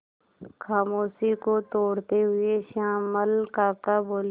खामोशी को तोड़ते हुए श्यामल काका बोले